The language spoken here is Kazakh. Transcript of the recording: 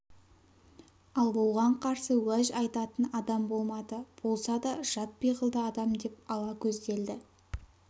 ал оған қарсы уәж айтатын адам болмады болса да жат пиғылды адам деп ала көзделді